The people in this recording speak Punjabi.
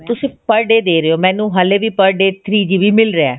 ਤੁਸੀਂ per day ਦੇ ਰਹੇ ਹੋ ਮੈਨੂੰ ਹਲੇ ਵੀ per day three GB ਮਿਲ ਰਿਹਾ